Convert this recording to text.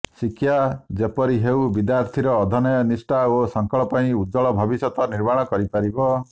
ଶିକ୍ଷା ଯେପରି ହେଉ ବିଦ୍ୟାର୍ଥୀର ଅଧ୍ୟୟନ ନିଷ୍ଠା ଓ ସଂକଳ୍ପ ହିଁ ଉଜ୍ୱଳ ଭବିଷ୍ୟତ ନିର୍ମାଣ କରିପାରିବ